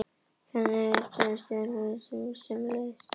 Þannig er eðli tengsla orðið mjög fjölbreytilegt og lífshættir sömuleiðis.